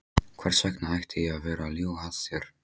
Hvers vegna ætti ég að vera að ljúga að þér?